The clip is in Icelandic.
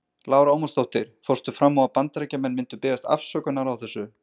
Lára Ómarsdóttir: Fórstu fram á að Bandaríkjamenn myndu biðjast afsökunar á þessu?